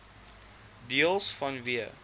deels vanweë